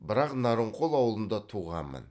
бірақ нарынқол ауылында туғанмын